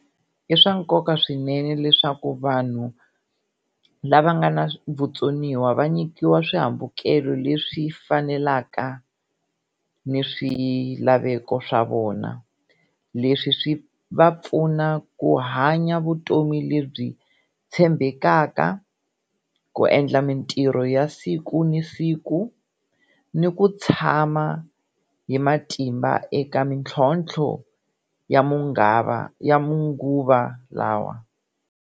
I swa nkoka swinene leswaku vanhu lava nga na vutsoniwa va nyikiwa swihambukelo leswi fanelaka ni swilaveko swa vona leswi swi va pfuna ku hanya vutomi lebyi tshembekaka, ku endla mintirho ya siku ni siku ni ku tshama hi matimba eka mitlhontlho ya ya manguva lawa.